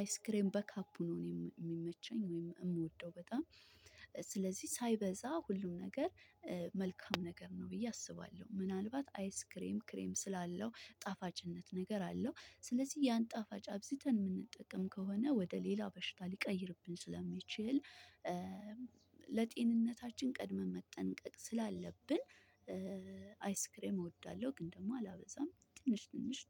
አይስክሬም በካፑ ነው የሚመቸኝ ወይም እምወደው በጣም። ስለዚህ ሳይበዛ ሁሉም ነገር መልካም ነገር ነው ብዬ አስባለሁ። ምናልባት አይስ ክሬም ክሬም ስላለው ጣፋጭነት ነገር አለው። ስለዚህ ያን ጣፋጭ አብዝተን የምንጠቀም ከሆነ ወደ ሌላ በሽታ ሊቀይርብን ስለሚችል ለጤንነታችን ቀድመን መጠንቀቅ ስላለብን አይስክሬም እወዳለሁ ግን ደግሞ አላበዛም ትንሽ ትንሽ